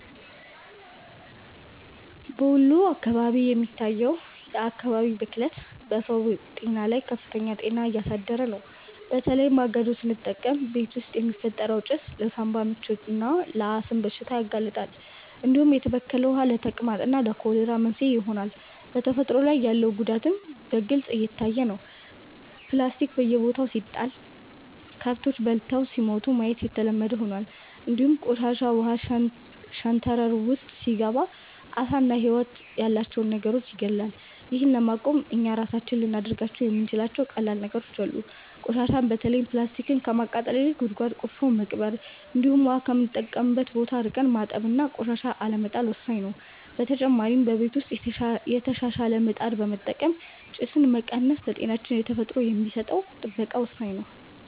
በወሎ አካባቢ የሚታየው የአካባቢ ብክለት በሰው ጤና ላይ ከፍተኛ ጫና እያሳደረ ነው፤ በተለይ ማገዶ ስንጠቀም ቤት ውስጥ የሚፈጠረው ጭስ ለሳንባ ምችና ለአስም በሽታ ያጋልጣል፣ እንዲሁም የተበከለ ውሃ ለተቅማጥና ለኮሌራ መንስኤ ይሆናል። በተፈጥሮ ላይ ያለው ጉዳትም በግልጽ እየታየ ነው፤ ፕላስቲክ በየቦታው ሲጣል ከብቶች በልተው ሲሞቱ ማየት የተለመደ ሆኗል፣ እንዲሁም ቆሻሻ ውሃ ሸንተረር ውስጥ ሲገባ ዓሳና ህይወት ያላቸው ነገሮችን ይገድላል። ይህን ለማቆም እኛ ራሳችን ልናደርጋቸው የምንችላቸው ቀላል ነገሮች አሉ፤ ቆሻሻን በተለይም ፕላስቲክን ከማቃጠል ይልቅ ጉድጓድ ቆፍረን መቅበር፣ እንዲሁም ውሃ ከምንጠቀምበት ቦታ ርቀን ማጠብና ቆሻሻን አለመጣል ወሳኝ ነው። በተጨማሪ በቤት ውስጥ የተሻሻለ ምጣድ በመጠቀም ጭስን መቀነስ ለጤናችንና ለተፈጥሮ የሚሰጠን ጥበቃ ወሳኝ ነው።